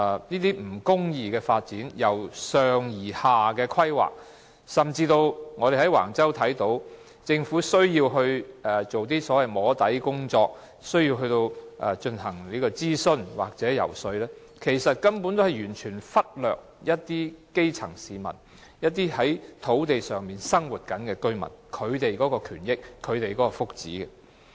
這種不公義、由上而下的發展規劃，甚至我們從橫洲發展中看到，政府做一些所謂"摸底"的工作，進行諮詢或遊說，其實是完全忽略了基層市民，以及在相關土地上生活的居民的權益和福祉。